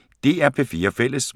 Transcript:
DR P4 Fælles